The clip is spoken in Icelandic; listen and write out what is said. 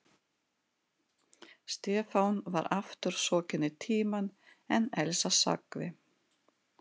Stefán var aftur sokkinn í Tímann en Elsa sagði